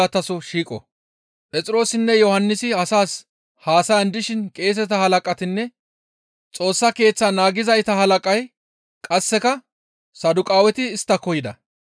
Phexroosinne Yohannisi asaas haasayan dishin qeeseta Halaqatinne Xoossa Keeththaa naagizayta halaqay qasseka Saduqaaweti isttako yida.